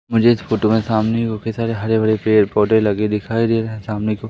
मुझे इस फोटो के सामने काफी सारे हरे भरे पेड़ पौधे लगे दिखाई दे रहा है और सामने को--